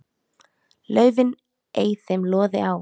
laufin ei þeim loði á.